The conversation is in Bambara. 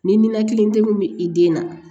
Ni ninakili degun bɛ i den na